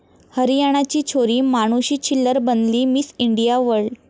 हरियाणाची छोरी मानुषी छिल्लर बनली 'miss India world'